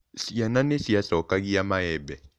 Ciana nĩ ciacokagia maembe.